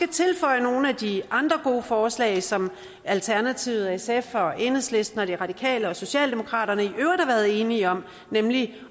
tilføje nogle af de andre gode forslag som alternativet sf enhedslisten de radikale og socialdemokratiet i øvrigt enige om nemlig